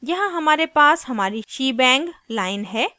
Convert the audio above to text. यहाँ हमारे पास हमारी शीबैंग line है